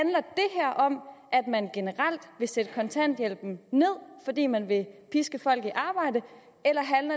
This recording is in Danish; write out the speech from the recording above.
om at man generelt vil sætte kontanthjælpen ned fordi man vil piske folk i arbejde eller